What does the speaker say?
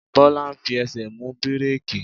Bola fi ẹsẹ̀ mú bíréékì.